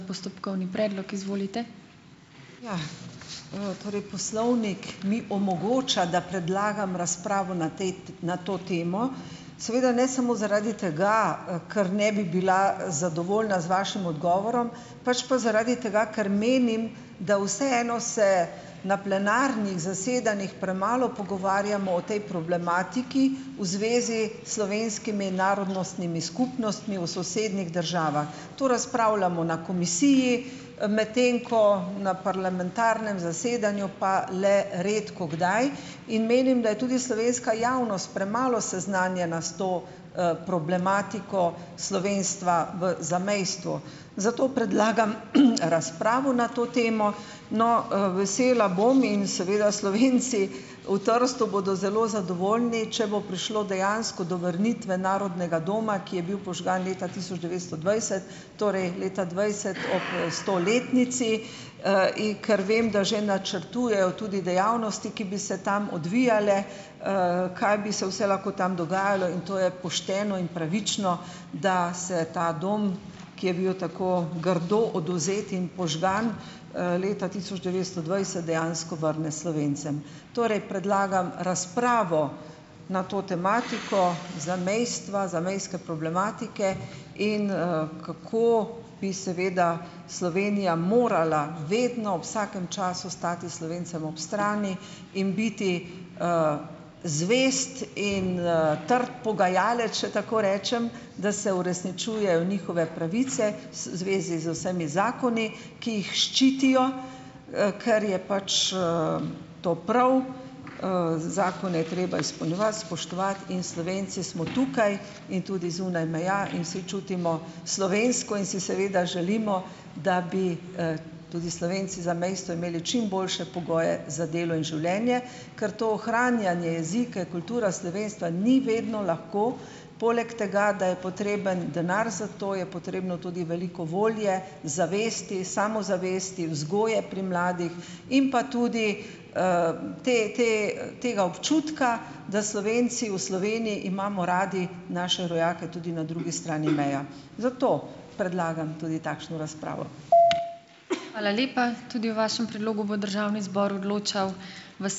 Ja, torej poslovnik mi omogoča, da predlagam razpravo na tej na to temo. Seveda ne samo zaradi tega, kar ne bi bila zadovoljna z vašim odgovorom, pač pa zaradi tega, ker menim, da vseeno se na plenarnih zasedanjih premalo pogovarjamo o tej problematiki v zvezi slovenskimi narodnostnimi skupnostmi v sosednjih državah. To razpravljamo na komisiji, medtem ko na parlamentarnem zasedanju pa le redkokdaj. In menim, da je tudi slovenska javnost premalo seznanjena s to, problematiko slovenstva v zamejstvu. Zato predlagam, razpravo na to temo. No, vesela bom in seveda Slovenci v Trstu bodo zelo zadovoljni, če bo prišlo dejansko do vrnitve Narodnega doma, ki je bil požgan leta tisoč devetsto dvajset, torej leta dvajset ob, stoletnici. In ker vem, da že načrtujejo tudi dejavnosti, ki bi se tam odvijale, kaj bi se vse lahko tam dogajalo, in to je pošteno in pravično, da se ta dom, ki je bil tako grdo odvzet in požgan, leta tisoč devetsto dvajset, dejansko vrne Slovencem. Torej predlagam razpravo na to tematiko zamejstva, zamejske problematike in, kako bi seveda Slovenija morala vedno, vsakem času stati Slovencem ob strani in biti zvest in, trd pogajalec, če tako rečem, da se uresničujejo njihove pravice s v zvezi z vsemi zakoni, ki jih ščitijo, ker je pač, to prav, zakone je treba izpolnjevati, spoštovati. In Slovenci smo tukaj in tudi zunaj meja in vsi čutimo slovensko in si seveda želimo, da bi, tudi Slovenci zamejstvu imeli čim boljše pogoje za delo in življenje, ker to ohranjanje jezika, kulture, slovenstva ni vedno lahko. Poleg tega, da je potreben denar za to, je potrebno tudi veliko volje, zavesti, samozavesti, vzgoje pri mladih in pa tudi, te te, tega občutka, da Slovenci v Sloveniji imamo radi naše rojake tudi na drugi strani meja. Zato predlagam tudi takšno razpravo.